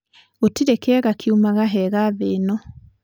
Gũtirĩ kĩega kiumaga hega thĩĩno.